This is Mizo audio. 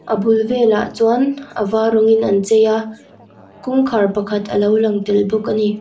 a bul velah chuan a var rawng in an chei a kawngkhar pakhat a lo lang tel bawk a ni.